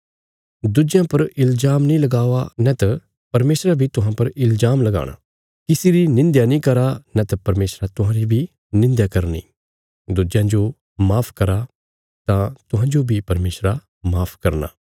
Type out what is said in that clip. दुज्यां पर इल्जाम नीं लगावा नैत परमेशरा बी तुहां पर इल्जाम लगाणा किसी री निंध्या नीं करा नैत परमेशरा तुहांरी बी निंध्या करनी दुज्यां जो माफ करा तां तुहांजो बी परमेशरा माफ करना